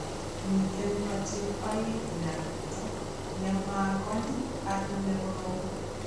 Miiten kochil aeng nyar niiton, ne ma ngoy ak ne korom.